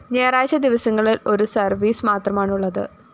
ഞായറാഴ്ച ദിവസങ്ങളില്‍ ഒരുസര്‍വീസ് മാത്രമാണുള്ളത്